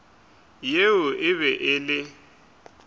yeo e be e le